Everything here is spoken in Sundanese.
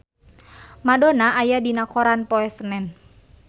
Madonna aya dina koran poe Senen